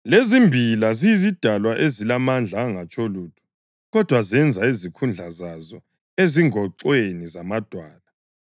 lezimbila ziyizidalwa ezilamandla angatsho lutho, kodwa zenza izikhundla zazo ezingoxweni zamadwala;